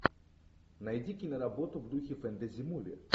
найди киноработу в духе фэнтези муви